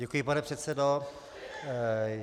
Děkuji, pane předsedo.